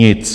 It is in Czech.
Nic!